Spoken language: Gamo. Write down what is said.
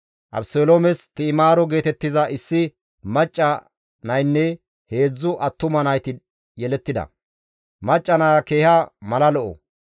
Abeseloomes Ti7imaaro geetettiza issi macca naynne heedzdzu attuma nayti yelettida. Macca naya keeha mala lo7o.